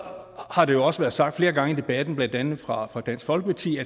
har det jo også været sagt flere gange i debatten blandt andet fra dansk folkepartis